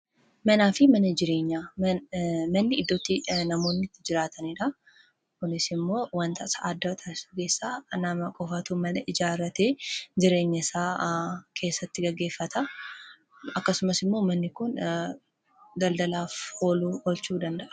Manaa fi mana jireenya, manni iddootti namoonni itti jiraataniidha. Kunis immoo wanti isa addaa taassisu nama qofatu mana ijaarrate jireenya isaa keessatti gaggeeffata. Akkasumas immoo manni kun daldalaaf ooluu danda'a.